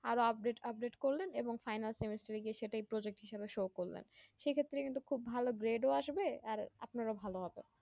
আরো আরো update করলেন এবং final semester এ গিয়ে সেটাই project হিসাবে show করলেন সেক্ষেত্রে কিন্তু খুব ভালো grade ও আসবে আর আপনার ভালো হবে